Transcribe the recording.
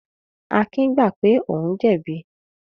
Akin gbà pé òun jẹ̀bi.